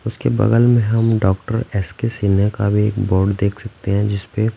उसके बगल में हम डॉक्टर एस के सिन्ने का भी एक बोर्ड देख सकते हैं जिस पे--